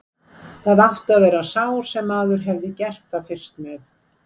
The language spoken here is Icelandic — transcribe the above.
Það átti að vera sá sem maður hefði gert það fyrst með.